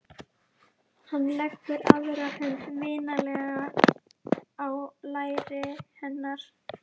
Hann leggur aðra hönd vinalega á læri hennar.